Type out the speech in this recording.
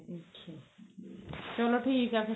ਚਲੋ ਠੀਕ ਏ ਫ਼ੇਰ